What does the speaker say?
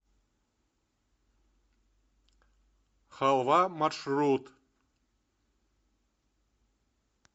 халва маршрут